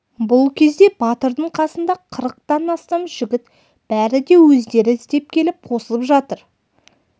бұл кезде батырдың қасында қырықтан астам жігіт бәрі де өздері іздеп келіп қосылып жатыр